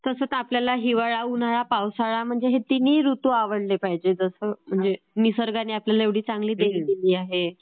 तसं तर आपल्याला हिवाळा, उन्हाळा, पावसाळा हे तिन्ही ऋतू आवडले पाहिजेत. म्हणजे निसर्गाने आपल्याला इतकी चांगली देण दिलेली आहे.